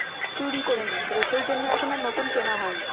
চুরি করে নিয়েছিল সেই জন্য এখন আর নতুন কেনা হয়নি।